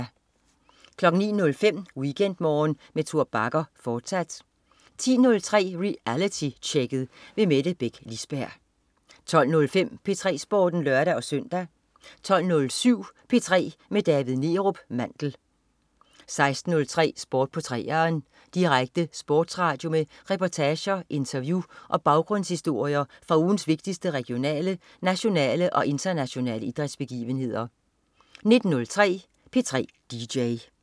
09.05 WeekendMorgen med Tor Bagger, fortsat 10.03 Realitytjekket. Mette Beck Lisberg 12.05 P3 Sporten (lør-søn) 12.07 P3 med David Neerup Mandel 16.03 Sport på 3'eren. Direkte sportsradio med reportager, interview og baggrundshistorier fra ugens vigtigste regionale, nationale og internationale idrætsbegivenheder 19.03 P3 DJ